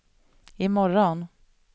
imorgon